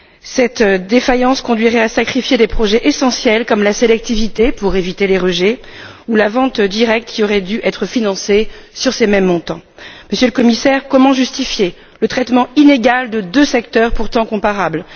Cette défaillance conduirait à sacrifier des projets essentiels comme la sélectivité pour éviter les rejets ou la vente directe, qui auraient dû être financés sur ces mêmes montants. Monsieur le Commissaire, comment justifier le traitement inégal de deux secteurs pourtant comparables.